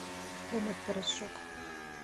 комет порошок